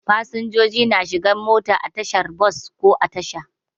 Fasinjoji na shigan mota a tashar bos ko a Tasha.